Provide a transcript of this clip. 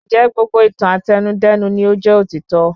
Ńjẹ̀ gbogbo ìtàn Àtẹnudẹ́nu ni o jẹ́ òtítọ́